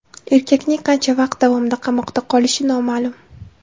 Erkakning qancha vaqt davomida qamoqda qolishi noma’lum.